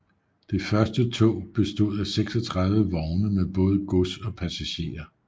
Det første tog bestod af 36 vogne med både gods og passagerer